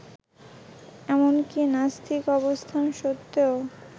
এমনকি নাস্তিক অবস্থান সত্ত্বেও